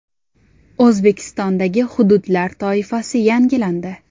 O‘zbekistondagi hududlar toifasi yangilandi.